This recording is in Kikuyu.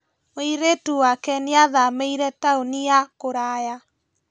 Mũirĩtu wake nĩathamĩire taũni ya kũraya